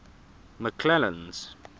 mcclennan's